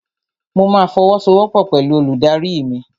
Mo ma fọwọ́sowọ́pọ̀ pẹ̀lú olùdarí mi.